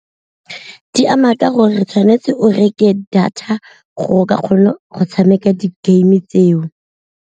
Di ama ka gore tshwanetse o reke data gore ka kgone go tshameka di-game tseo.